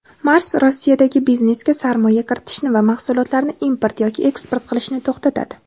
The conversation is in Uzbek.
"Mars" Rossiyadagi biznesga sarmoya kiritishni va mahsulotlarni import yoki eksport qilishni to‘xtatadi.